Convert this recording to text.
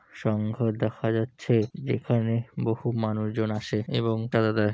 সংঘ দেখা যাচ্ছে যেখানে বহু মানুষজন আসে এবং চাঁদা দেয় --